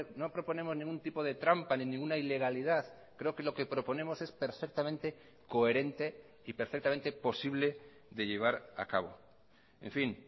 no proponemos ningún tipo de trampa ni ninguna ilegalidad creo que lo que proponemos es perfectamente coherente y perfectamente posible de llevar a cabo en fin